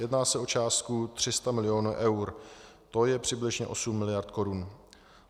Jedná se o částku 300 milionů eur, to je přibližně 8 miliard korun.